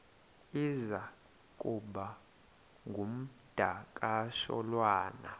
iza kuba ngumdakasholwana